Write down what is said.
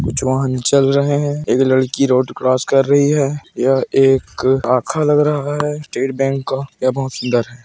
कुछ वाहन चल रहे है एक लड़की रोड क्रोस कर रही है यह एक लग रहा है स्टेट बैंक का यह बहुत सुंदर है।